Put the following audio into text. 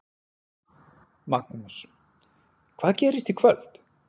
Magnús: Hvað gerist í kvöld?